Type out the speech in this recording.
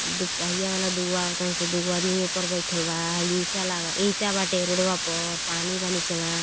दोपहिया वाला दुगो आवतंनसन। दो आदमी वोपर बाईथल बा। हई ईटा लागल ईटा बाटे रोड़वा पर पानी बा निचवा।